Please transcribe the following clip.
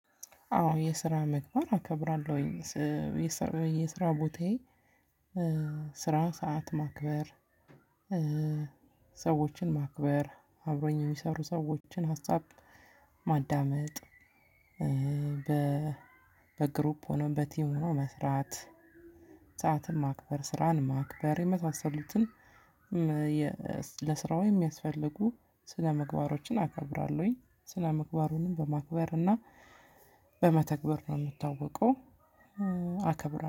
አዎ የስራ ምግባር አከብራለሁኝ የስራ ቦታዬ ስራ ሰዓት ማክበር ሰዎችን ማክበር አብሮኝ የሚሰሩ ሰዎችን ሀሳብ ማዳመጥ። በግሩፕ ሆኖ በቲም ሆኖ መስራት ሰዓትን ማክበር ስራን ማክበር የመሳሰሉትን። ለስራው የሚያስፈልጉ ስነምግባሮችን አከብራለሁኝ ስነምግባሩንም በማክበር እና በመተግበር ነው የምታወቀው አከብራለሁ